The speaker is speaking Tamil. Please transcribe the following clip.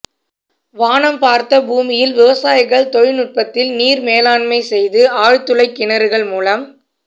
வானம் பார்த்த பூமியில் விவசாயிகள் தொழில் நுட்பத்தில் நீர் மேலாண்மை செய்து ஆழ் துளை கிணறுகள் மூலம்